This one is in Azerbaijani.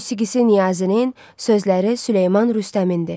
Musiqisi Niyazinin, sözləri Süleyman Rüstəmindir.